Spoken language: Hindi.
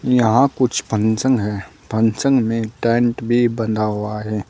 यहां कुछ फंक्शन है फंक्शन में टेंट भी बंधा हुआ है।